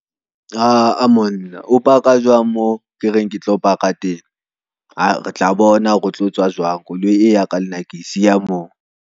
Aa monna, o paka jwang mo ke reng ke tlo paka teng, re tla bona hore o tlo tswa jwang koloi e ya ka lenna ke siya mo.